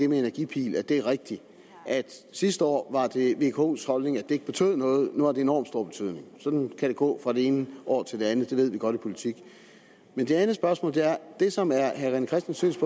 med energipil at det er rigtigt at sidste år var det vkos holdning at det ikke betød noget og nu har det enorm stor betydning sådan kan det gå fra det ene år til det andet og det ved vi godt i politik det som er herre rené christensens